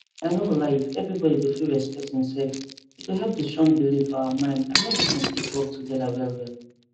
i no go lie if everybody go fit respect hin self e go help the strong belief for our mind andmedicine fit work together wellwell